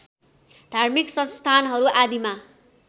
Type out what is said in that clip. धार्मिक संस्थानहरू आदिमा